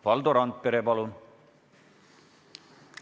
Valdo Randpere, palun!